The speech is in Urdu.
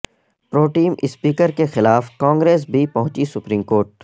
پروٹیم اسپیکر کے خلاف کانگریس بھی پہنچی سپریم کورٹ